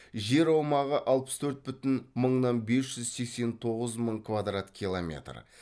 жер аумағы алпыс төрт бүтін мыңнан бес жүз сексен тоғыз мың квадрат километр